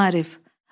Maarif.